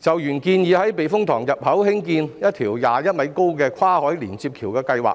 就原建議在觀塘避風塘入口興建一條21米高的跨海連接橋的計劃，